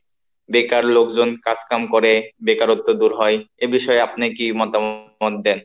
বেকার লোকজন কাজ কাম করে, বেকারত্ব দূর হয়, এ বিষয়ে আপনি কি মতামত দেন?